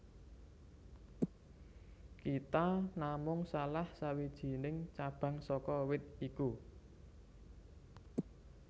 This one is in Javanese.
Kita namung salah sawijining cabang saka wit iku